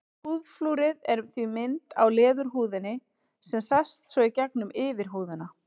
Húðflúrið er því mynd á leðurhúðinni sem sést svo í gegnum yfirhúðina.